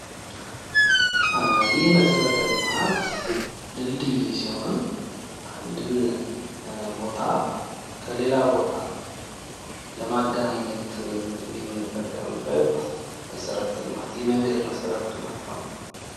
ይህ መሠረተ ልማት ድልድይ ሲሆን አንድን ቦታ ከሌላ ቦታ ለማገናኘት የምንጠቀምበት መሠረተ ልማት የመንገድ መሠረተ ልማት ነው።